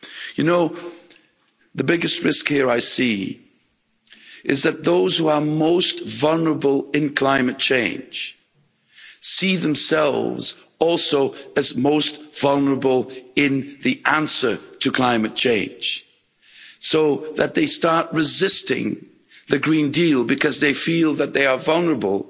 You know, the biggest risk here I see is that those who are most vulnerable in climate change see themselves also as most vulnerable in the answer to climate change, so that they start resisting the Green Deal because they feel that they are vulnerable.